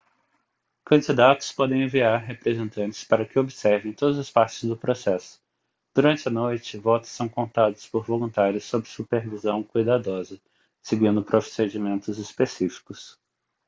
candidatos podem enviar representantes para que observem todas as partes do processo durante a noite votos são contados por voluntários sob supervisão cuidadosa seguindo procedimentos específicos